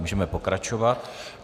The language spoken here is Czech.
Můžeme pokračovat.